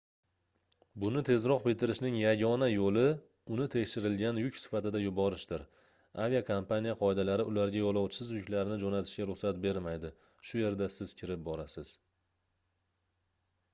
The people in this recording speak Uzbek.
buni tezroq bitirishning yagona yoʻli uni tekshirilgan yuk sifatida yuborishdir aviakompaniya qoidalari ularga yoʻlovchisiz yuklarni joʻnatishga ruxsat bermaydi shu yerda siz kirib borasiz